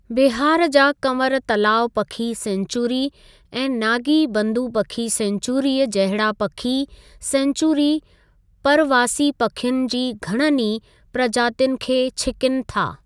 बिहार जा कंवर तलाउ पखी सैंचुरी ऐं नागी बंदु पखी सैंचुरीअ जहिड़ा पखी सैंचुरी परवासी पखियुनि जी घणनि ई प्रजातियुनि खे छीकिन था।